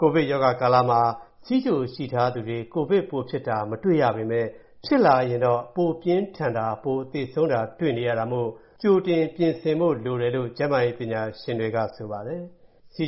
ကိုဗစ် ရောဂါဖြစ်ပွားနေချိန်ကာလမှာ ဆီးချိုရှိထားသူတွေ ကိုဗစ်ဖြစ်တာကို ပိုမတွေ့ရပေမယ့်၊ ဖြစ်လာခဲ့လျှင်တော့ ပိုပြီးပြင်းထန်စွာခံရပြီး၊ သေဆုံးမှုတွေ ပိုရှိတာကို တွေ့နေရတာမို့ ကြိုတင်ပြင်ဆင်ကာကွယ်ဖို့ လိုပါတယ်လို့ ကျန်းမာရေးပညာရှင်တွေက သတိပေးပြောဆိုပါတယ်။ ဆီး